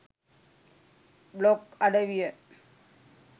blog අඩවිය